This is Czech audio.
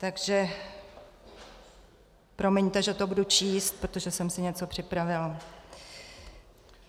Takže promiňte, že to budu číst, protože jsem si něco připravila.